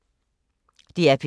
DR P2